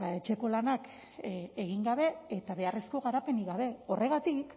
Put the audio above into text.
etxeko lanak egin gabe eta beharrezko garapenik gabe horregatik